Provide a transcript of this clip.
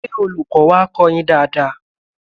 Ṣé Olùkọ́ wá kọ́ ọ yín lánàá?